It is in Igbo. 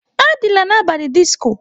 Adịla n'abalị disco!